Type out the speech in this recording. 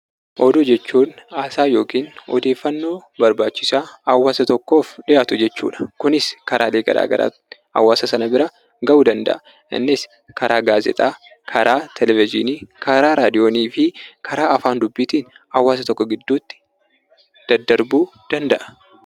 Oduu jechuun haasaa yookiin odeeffannoo barbaachisaa hawaasa tokkoof dhiyaatu jechuu dha. Kunis karaalee garaagaraan hawaasa sana bira ga'uu danda'a. Innis karaa gaazexaa, karaa televizyiinii, karaa raadiyoonii fi karaa afaan dubbiitiin hawaasa tokko gidduutti daddarbuu danda'a.